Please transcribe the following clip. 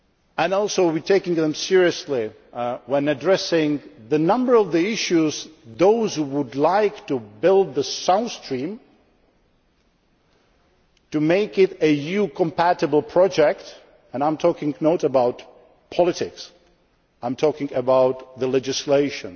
Russia. And we also take them seriously when addressing the number of issues facing those who would like to build the South Stream and to make it an EU compatible project and I am not talking about politics, I am talking about the legislation